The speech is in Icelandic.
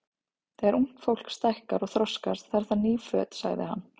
Þegar ungt fólk stækkar og þroskast, þarf það ný föt sagði hann.